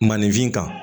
Maninfin kan